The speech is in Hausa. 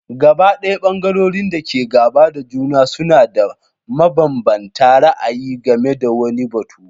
Gabaɗaya ɓangarorin da ke gaba da juna suna da mabanbanta ra'ayi game da wani batu.